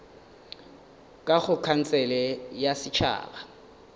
ka go khansele ya setšhaba